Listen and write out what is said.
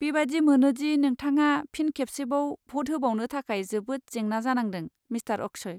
बेबादि मोनोदि नोंथाङा फिन खेबसेबाव भ'ट होबावनो थाखाय जोबोद जेंना जानांदों, मिस्तार अक्षय।